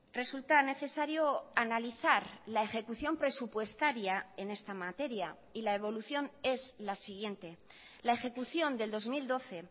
resulta necesario analizar la ejecución presupuestaria en esta materia y la evolución es la siguiente la ejecución del dos mil doce